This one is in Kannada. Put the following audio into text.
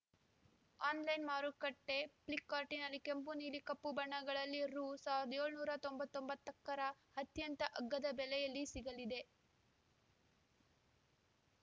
ಆನ್‌ಲೈನ್‌ ಮಾರುಕಟ್ಟೆಫ್ಲಿಪ್‌ಕಾರ್ಟ್‌ನಲ್ಲಿ ಕೆಂಪು ನೀಲಿ ಕಪ್ಪು ಬಣ್ಣಗಳಲ್ಲಿ ರು ಸಾವಿರದ ಏಳುನೂರ ತೊಂಬತ್ತೊಂಬತ್ತಕ್ಕರ ಅತ್ಯಂತ ಅಗ್ಗದ ಬೆಲೆಯಲ್ಲಿ ಸಿಗಲಿದೆ